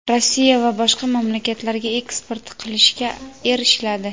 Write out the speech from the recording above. Rossiya va boshqa mamlakatlarga eksport qilishga erishiladi.